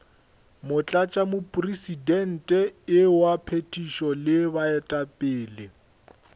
motlatšamopresidente wa phethišo le baetapele